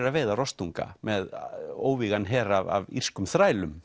að veiða rostunga með óvígan her af írskum þrælum